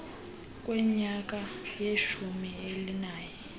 kwenyanga yeshumi elinanye